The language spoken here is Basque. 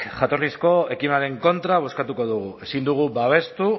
jatorrizko ekimenaren kontra bozkatuko dugu ezin dugu babestu